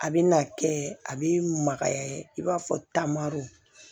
A bɛ na kɛ a bɛ magaya i b'a fɔ taamaro